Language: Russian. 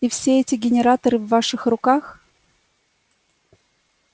и все эти генераторы в ваших руках